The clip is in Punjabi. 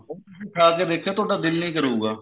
ਉਹਨੂੰ ਤੁਸੀਂ ਖਾ ਕੇ ਦੇਖਿਓ ਤੁਹਾਡਾ ਦਿਲ ਨਹੀਂ ਕਰੂਗਾ